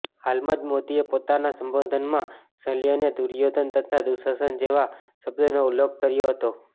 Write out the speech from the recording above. હાલમાં જ મોદીએ પોતાના સંબોધનમાં સલ્ય અને દુર્યોધન તથા દુશાસન જેવા શબ્દોનો ઉલ્લેખ કર્યો હતો